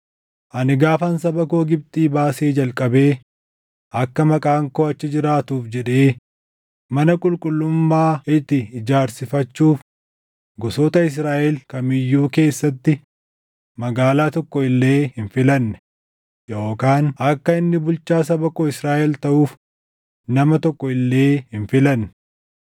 ‘Ani gaafan saba koo Gibxii baasee jalqabee akka Maqaan koo achi jiraatuuf jedhee mana qulqullummaa itti ijaarsifachuuf gosoota Israaʼel kam iyyuu keessatti magaalaa tokko illee hin filanne, yookaan akka inni bulchaa saba koo Israaʼel taʼuuf nama tokko illee hin filanne.